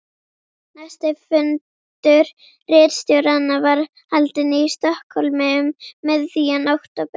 Næsti fundur ritstjóranna var haldinn í Stokkhólmi um miðjan október